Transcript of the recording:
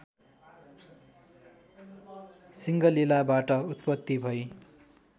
सिङ्गलिलाबाट उत्पत्ति भई